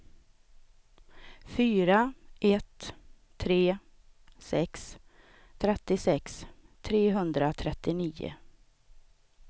fyra ett tre sex trettiosex trehundratrettionio